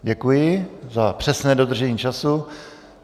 Děkuji za přesné dodržení času.